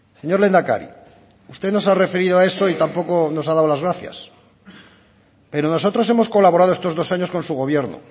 señor lehendakari usted no se ha referido a eso y tampoco nos ha dado las gracias pero nosotros hemos colaborado estos dos años con su gobierno